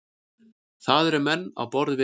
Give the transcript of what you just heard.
Það eru menn á borð við